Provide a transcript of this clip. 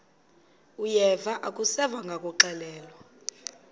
uyeva akuseva ngakuxelelwa